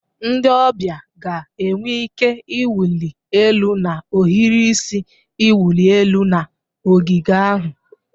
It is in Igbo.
Ndị ọbịa ga-enwe ike ịwụli elu na ohiri isi iwụli elu na ogige ahụ.